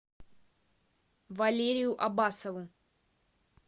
валерию аббасову